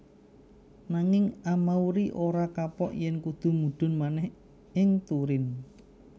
Nanging Amauri ora kapok yèn kudu mudhun manèh ing Turin